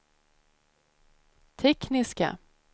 tekniska